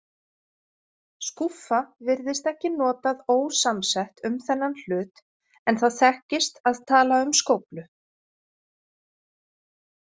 Skúffa virðist ekki notað ósamsett um þennan hlut, en það þekkist að tala um skóflu.